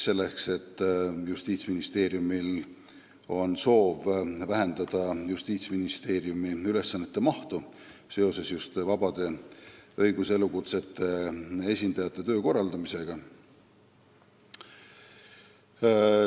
Justiitsministeeriumil on soov vähendada oma ülesannete mahtu just vabade õiguselukutsete esindajate töö korraldamisel.